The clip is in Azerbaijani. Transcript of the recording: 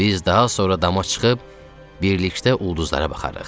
Biz daha sonra dama çıxıb birlikdə ulduzlara baxarıq.